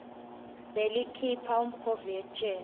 belikhipha umkhovu etjeni